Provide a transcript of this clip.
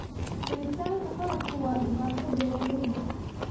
Helitaanka qalabku waa dhibaato beeralayda.